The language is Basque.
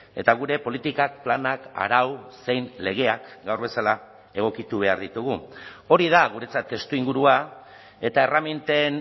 eta gure politikak planak arau zein legeak gaur bezala egokitu behar ditugu hori da guretzat testuingurua eta erreminten